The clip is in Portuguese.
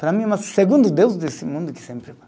Para mim, é o meu segundo Deus desse mundo que sempre